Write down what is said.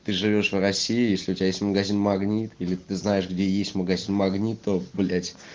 ты живёшь в россии если у тебя есть магазин магнит или ты знаешь где есть магазин магнит то блять